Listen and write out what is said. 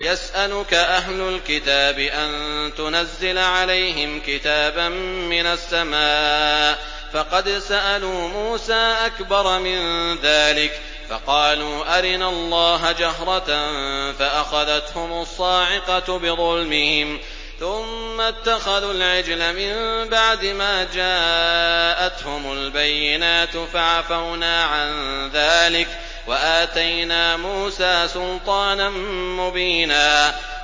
يَسْأَلُكَ أَهْلُ الْكِتَابِ أَن تُنَزِّلَ عَلَيْهِمْ كِتَابًا مِّنَ السَّمَاءِ ۚ فَقَدْ سَأَلُوا مُوسَىٰ أَكْبَرَ مِن ذَٰلِكَ فَقَالُوا أَرِنَا اللَّهَ جَهْرَةً فَأَخَذَتْهُمُ الصَّاعِقَةُ بِظُلْمِهِمْ ۚ ثُمَّ اتَّخَذُوا الْعِجْلَ مِن بَعْدِ مَا جَاءَتْهُمُ الْبَيِّنَاتُ فَعَفَوْنَا عَن ذَٰلِكَ ۚ وَآتَيْنَا مُوسَىٰ سُلْطَانًا مُّبِينًا